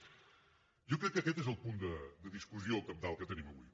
jo crec que aquest és el punt de discussió cabdal que tenim avui